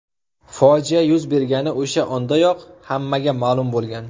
Fojia yuz bergani o‘sha ondayoq hammaga ma’lum bo‘lgan.